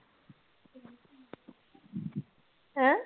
ਹੈਂ।